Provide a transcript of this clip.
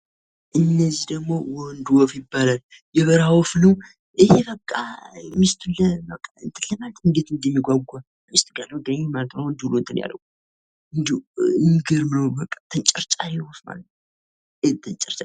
እነዚህ ደግሞ ወንድ ወፍ ይባላሉ። የበረሀ ወፍ ነው ይኸ በቃ ሚስቱን እንትን ለማለት እንዴት እንደሚጓጓ ሚስቱ ጋ ያለው ዳይን ማለት ነው። አሁን እንደው የሚገርም ነው ተንጨርጫሪ ወፍ ማለት ነው።